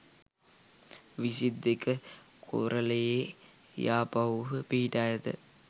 විසි දෙක කෝරළයේ යාපහුව පිහිටා ඇත.